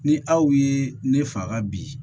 Ni aw ye ne faga bi